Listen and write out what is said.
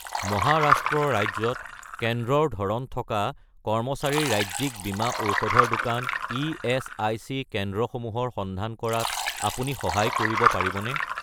মহাৰাষ্ট্ৰ ৰাজ্যত কেন্দ্ৰৰ ধৰণ থকা কৰ্মচাৰীৰ ৰাজ্যিক বীমা ঔষধৰ দোকান ইএচআইচি কেন্দ্ৰসমূহৰ সন্ধান কৰাত আপুনি সহায় কৰিব পাৰিবনে?